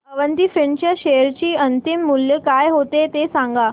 Avanti Feeds च्या share चे अंतिम मूल्य काय होते ते सांगा